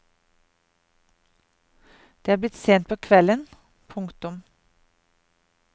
Det er blitt sent på kvelden. punktum